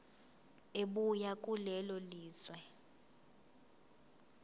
ebuya kulelo lizwe